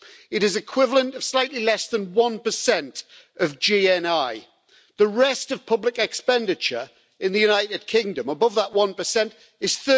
It is equivalent to slightly less than one percent of GNI. The rest of public expenditure in the United Kingdom, above that 1, is